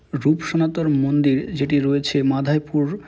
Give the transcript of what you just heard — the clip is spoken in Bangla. রুপসনাতর মন্দির যেটি রয়েছে মাধাইপুর --